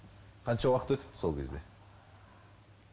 қанша уақыт өтіпті сол кезде